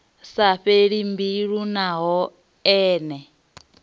sa fheli mbilu naho ene